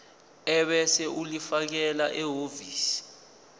ebese ulifakela ehhovisi